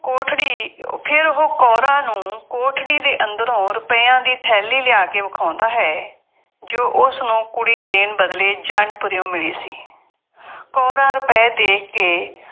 ਕੋਠੜੀ, ਫੇਰ ਉਹ ਕੌਰਾਂ ਨੂੰ ਕੋਠੜੀ ਦੇ ਅੰਦਰੋਂ ਰੁਪਇਆ ਦੀ ਥੈਲੀ ਲਿਆ ਕੇ ਵਿਖਾਉਂਦਾ ਹੈ, ਜੋ ਉਸਨੂੰ ਕੁੜੀ ਦੇਣ ਬਦਲੇ ਜੰਡਪੁਰਿਉਂ ਮਿਲੀ ਸੀ। ਕੌਰਾਂ ਰੁਪਏ ਦੇਖ ਕੇ